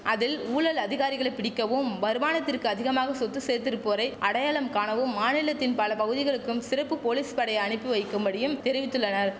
அதில் ஊழல் அதிகாரிகளை பிடிக்கவும் வருமானத்திற்கு அதிகமாக சொத்து சேர்த்திருப்போரை அடையாளம் காணவும் மாநிலத்தின் பல பகுதிகளுக்கும் சிறப்பு போலீஸ் படையை அனுப்பி வைக்கும்படி தெரிவித்துள்ளனர்